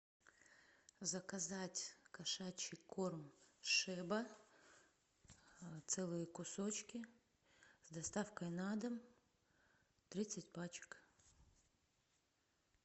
заказать кошачий корм шеба целые кусочки с доставкой на дом тридцать пачек